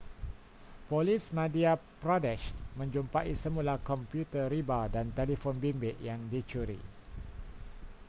polis madhya pradesh menjumpai semula komputer riba dan telefon bimbit yang dicuri